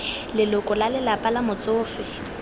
leloko la lelapa la motsofe